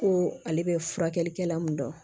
Ko ale bɛ furakɛlikɛla mun dɔn